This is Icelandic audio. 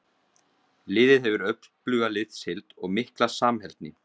Liðið hefur öfluga liðsheild og mikla samheldni.